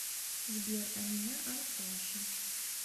сбер а меня аркаша